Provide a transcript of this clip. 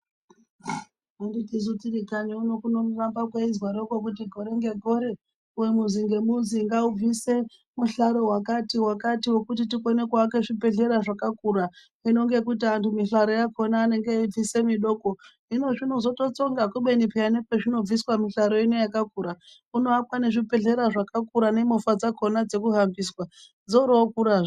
Anditi su tirikanyi uno kunoramba kweizwaroko kuti gore ngegore muzi ngemuzi ngaubvise muhlaro wakati wakati wekuti tikone kuake zvibhehleya zvakakura hino ngekuti anhu mihlaro yaakona anonga eibvise midoko hino zvinotozotsonga kubeni peya nepazvinobvisa mihlaro ino yakakura kunoakwe nezvibhehlara zvakakura nemovha dzakona dzokuhambisa dzoorokurazve.